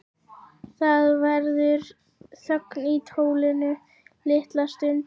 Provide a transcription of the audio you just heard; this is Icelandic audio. Það verður þögn í tólinu litla stund.